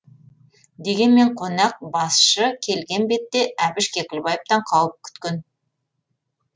дегенмен қонақ басшы келген бетте әбіш кекілбаевтан қауіп күткен